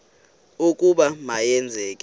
ukuba ma yenzeke